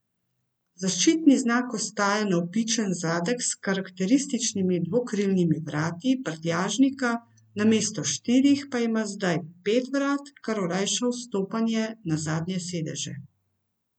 Zaščitni znak ostaja navpičen zadek s karakterističnimi dvokrilnimi vrati prtljažnika, namesto štirih, pa ima zdaj pet vrat, kar olajša vstopanje na zadnje sedeže.